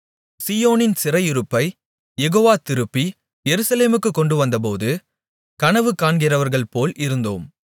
சீயோனின் சிறையிருப்பைக் யெகோவா திருப்பி எருசலேமுக்கு கொண்டு வந்தபோது கனவு காண்கிறவர்கள்போல் இருந்தோம்